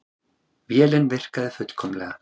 Vélin virkaði fullkomlega.